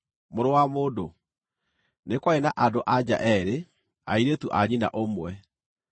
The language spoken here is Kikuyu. “Mũrũ wa mũndũ, nĩ kwarĩ na andũ-a-nja eerĩ, airĩtu a nyina ũmwe.